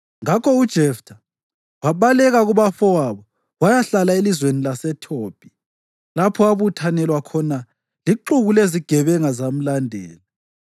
Ngakho uJeftha wabaleka kubafowabo wayahlala elizweni laseThobhi, lapho abuthanelwa khona lixuku lezigebenga zamlandela.